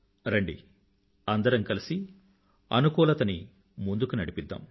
రండి అందరం కలిసి అనుకూలతని ముందుకు నడిపిద్దాం